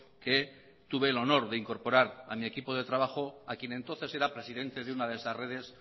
que tuve el honor de incorporar a mi equipo de trabajo a quien entonces era presidente de una de esas redes